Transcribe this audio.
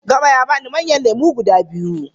Gama ya bani manyan lemu guda biyu.